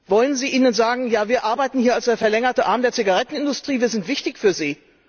Wollen Sie ihnen sagen Ja, wir arbeiten hier als der verlängerte Arm der Zigarettenindustrie. Wir sind wichtig für sie?